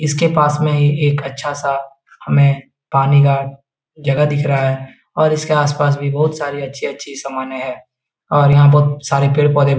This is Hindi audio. इसके पास में ही एक अच्छा सा हमें पानी का जगह दिख रहा हैऔर इसके आस-पास भी बहुत सारी अच्छी-अच्छी समाने है और यहाँ बहुत सारे पेड़ पौधे भी --